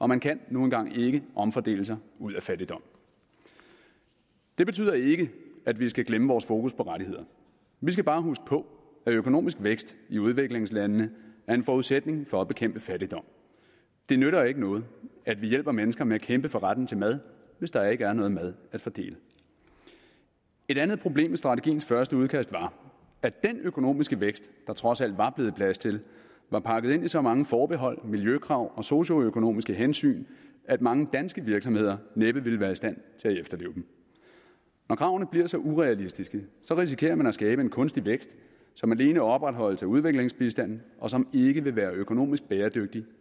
man kan nu engang ikke omfordele sig ud af fattigdom det betyder ikke at vi skal glemme vores fokus på rettigheder vi skal bare huske på at økonomisk vækst i udviklingslandene er en forudsætning for at bekæmpe fattigdom det nytter ikke noget at vi hjælper mennesker med at kæmpe for retten til mad hvis der ikke er nogen mad at fordele et andet problem i strategiens første udkast var at den økonomiske vækst der trods alt var blevet plads til var pakket ind i så mange forbehold miljøkrav og socioøkonomiske hensyn at mange danske virksomheder næppe ville være i stand til at efterleve dem når kravene bliver så urealistiske risikerer man at skabe en kunstig vækst som alene opretholdes af udviklingsbistanden og som ikke vil være økonomisk bæredygtig